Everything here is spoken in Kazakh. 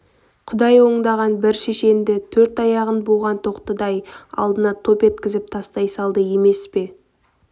құдай оңдағанда бір шешенді төрт аяғын буған тоқтыдай алдына топ еткізіп тастай салды емес пе